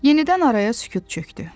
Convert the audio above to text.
Yenidən araya sükut çökdü.